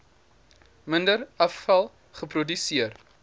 minder afval geproduseer